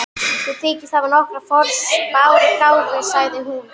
Þú þykist hafa nokkra forspárgáfu, sagði hún.